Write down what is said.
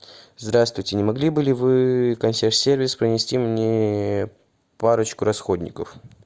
здравствуйте не могли бы ли вы консьерж сервис принести мне парочку расходников